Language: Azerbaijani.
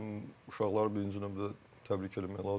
Uşaqları birinci növbədə təbrik eləmək lazımdır.